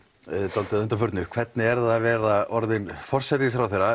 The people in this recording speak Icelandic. dálítið að undanförnu hvernig er að vera orðinn forsætisráðherra